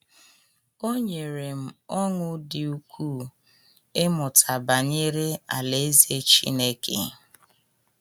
O nyere m ọṅụ dị ukwuu ịmụta banyere Alaeze Chineke